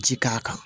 Ji k'a kan